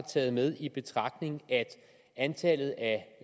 taget med i betragtning at antallet af